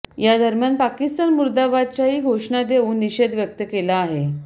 यादरम्यान पाकिस्तान मुर्दाबादच्याही घोषणा देऊन निषेध व्यक्त केला आहे